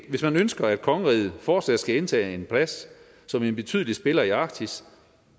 hvis man ønsker at kongeriget fortsat skal indtage en plads som en betydelig spiller i arktis